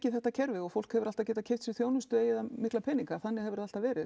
þetta kerfi og fólk hefur alltaf getað keypt sér þjónustu eigi það mikla peninga þannig hefur það alltaf verið